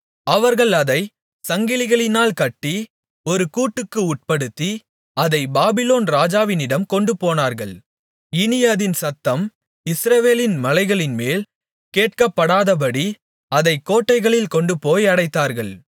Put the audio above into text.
அவர்கள் அதைச் சங்கிலிகளினால் கட்டி ஒரு கூட்டுக்கு உட்படுத்தி அதைப் பாபிலோன் ராஜாவினிடம் கொண்டுபோனார்கள் இனி அதின் சத்தம் இஸ்ரவேலின் மலைகளின்மேல் கேட்கப்படாதபடி அதை கோட்டைகளில் கொண்டுபோய் அடைத்தார்கள்